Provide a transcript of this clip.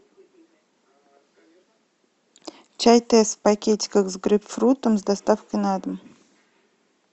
чай тесс в пакетиках с грейпфрутом с доставкой на дом